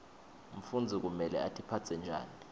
mfundzi kumele atiphatse njani